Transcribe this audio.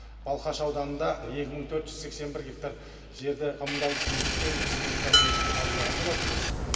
балқаш ауданында екі мың төрт жүз сексен бір гектар жерді коммуналдық меншіктен республикалық меншікке қабылдаған болатынбыз